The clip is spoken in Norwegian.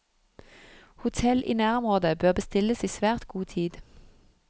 Hotell i nærområdet bør bestilles i svært god tid.